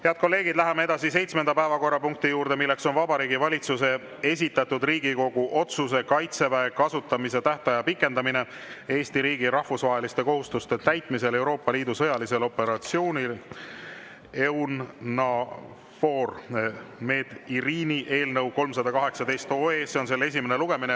Head kolleegid, läheme seitsmenda päevakorrapunkti juurde: Vabariigi Valitsuse esitatud Riigikogu otsuse "Kaitseväe kasutamise tähtaja pikendamine Eesti riigi rahvusvaheliste kohustuste täitmisel Euroopa Liidu sõjalisel operatsioonil EUNAVFOR Med/Irini" eelnõu 318 esimene lugemine.